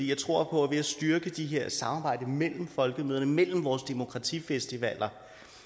jeg tror på at ved at styrke de her samarbejder mellem folkemøderne mellem vores demokratifestivaler